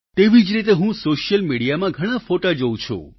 તેવી જ રીતે હું સોશિયલ મીડિયામાં ઘણાં ફોટો જોવું છું